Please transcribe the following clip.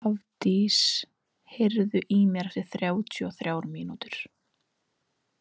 Hafdís, heyrðu í mér eftir þrjátíu og þrjár mínútur.